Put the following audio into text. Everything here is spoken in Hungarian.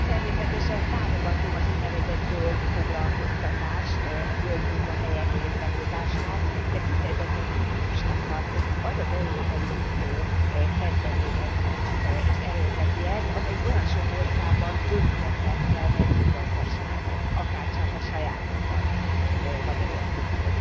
Elnök Úr, természetesen támogatom az ún. zöld foglalkoztatást, a zöld munkahelyek létrehozását, de kifejezetten cinikusnak tartom, hogy az az Európai Unió kezdeményezi és erőlteti ezt, amelyik olyan sok országban tönkretette a mezőgazdaságot, akárcsak a sajátomban, Magyarországon.